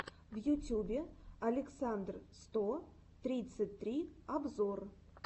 в ютюбе александр сто тридцать три обзор